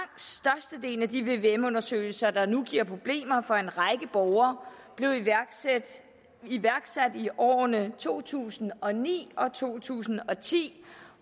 sagen af de vvm undersøgelser der nu giver problemer for en række borgere blev iværksat i årene to tusind og ni og to tusind og ti